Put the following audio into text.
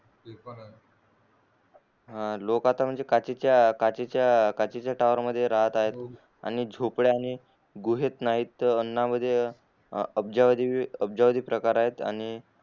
लोक आता म्हणजे काचे च्या काचे च्या टॉवर मध्ये राहत आहेत आणि झोपड्या गोहेत नाही अफजवधी अफजवधी प्रकार आहेत आणि